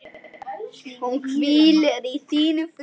Hún hvíli í þínum friði.